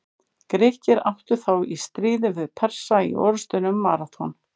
Grikkir áttu þá í stríði við Persa í orrustunni um Maraþon.